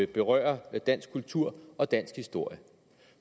berører dansk kultur og dansk historie